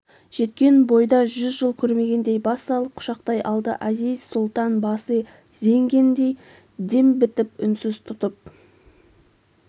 жеткен бойда жүз жыл көрмегендей бас салып құшақтай алды әзиз-сұлтан басы зеңгендей дем бітіп үнсіз тұрып